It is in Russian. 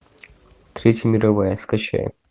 третья мировая скачай